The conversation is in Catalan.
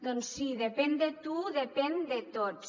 doncs sí depèn de tu depèn de tots